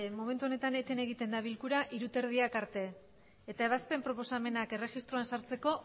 momentu honetan eten egiten da bilkura hamabost hogeita hamar arte eta ebazpen proposamenak erregistroan sartzeko